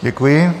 Děkuji.